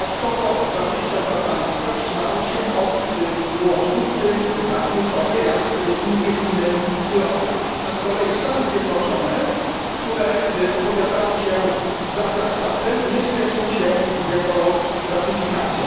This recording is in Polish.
Dodatkowo 22 państwa wstrzymały się od głosu, w tym państwa tak kluczowe, jak Indie, Chiny i Rosja, a z kolei Stany Zjednoczone, które opowiadały się za traktatem, nie spieszą się z jego ratyfikacją.